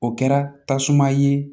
O kɛra tasuma ye